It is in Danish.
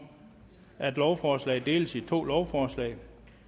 at lovforslaget deles i to lovforslag